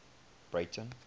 breyten